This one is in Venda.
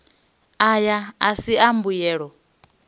aya a si a mbuyelo